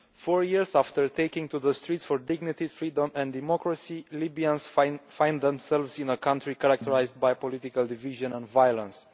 Mr President, four years after taking to the streets for dignity, freedom and democracy, Libyans find themselves in a country characterised by political division and violence.